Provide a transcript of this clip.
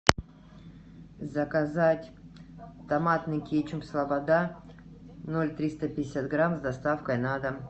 заказать томатный кетчуп слобода ноль триста пятьдесят грамм с доставкой на дом